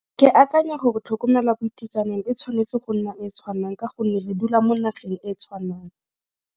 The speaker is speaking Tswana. Ke akanya gore tlhokomela boitekanelo e tshwanetse go nna e tshwanang ka gonne re dula mo nageng e tshwanang.